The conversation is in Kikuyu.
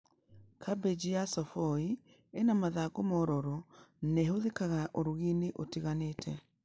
Kambĩji ya cavoi ĩna mathangũ mororo na ĩhũthĩkaga ũrigi-inĩ ũtiganĩte